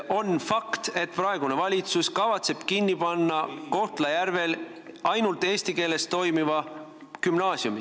On fakt, et praegune valitsus kavatseb kinni panna Kohtla-Järvel ainult eesti keeles õpetava gümnaasiumi.